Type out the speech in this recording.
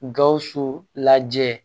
Gawusu lajɛ